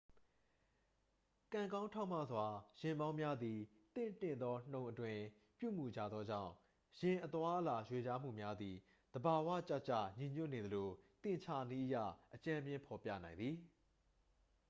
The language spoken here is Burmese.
ကံကောင်းထောက်မစွာ ယာဉ်မောင်းများသည် သင့်တင့်သော နှုန်းအတွင်း ပြုမူကြသောကြောင့် ယာဉ်အသွားအလာ ရွေလျားမှုများသည် သဘာဝကျကျညီညွတ်နေသလို သင်္ချာနည်းအရ အကြမ်းဖျင်းဖော်ပြနိုင်သည်